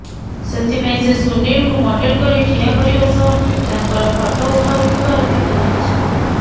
ସେଥିପାଇଁ ସେ ସୁନୀଲଙ୍କୁ ମଡ଼େଲ କରି ଠିଆ କରିବା ସହ ତାଙ୍କର ଫଟୋ ଉଠାଉଥିବାର ଦେଖା ଯାଇଛି